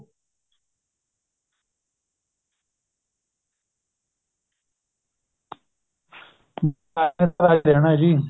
ਦੇਣਾ ਜੀ